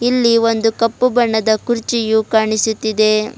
ಇಲ್ಲಿ ಒಂದು ಕಪ್ಪು ಬಣ್ಣದ ಕುರ್ಚಿಯು ಕಾಣಿಸುತ್ತಿದೆ.